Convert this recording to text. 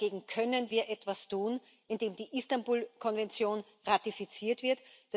Dagegen können wir etwas tun, indem die Istanbul Konvention ratifiziert wird.